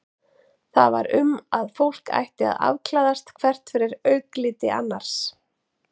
Það var um að fólk ætti að afklæðast hvert fyrir augliti annars.